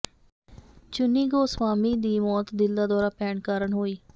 ਚੁੰਨੀ ਗੋਸਵਾਮੀ ਦੀ ਮੌਤ ਦਿਲ ਦਾ ਦੌਰਾ ਪੈਣ ਕਾਰਨ ਹੋਈ